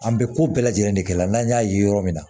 An bɛ ko bɛɛ lajɛlen de kɛ la n'an y'a ye yɔrɔ min na